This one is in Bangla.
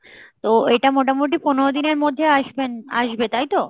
তো এটা মোটামোটি পনেরো দিনের মধ্যে আসবেন আসবে তাইতো ?